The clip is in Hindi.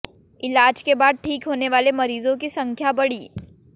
इलाज के बाद ठीक होने वाले मरीजों की संख्या बढ़ी